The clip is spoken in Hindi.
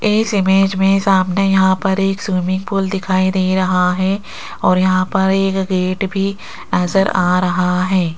इस इमेज में सामने यहां पर एक स्विमिंग पूल दिखाई दे रहा है और यहां पर एक गेट भी नजर आ रहा है।